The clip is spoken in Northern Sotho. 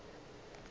gore o be a re